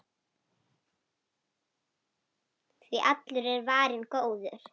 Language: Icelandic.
Því allur er varinn góður.